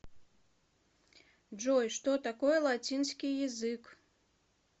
джой что такое латинский язык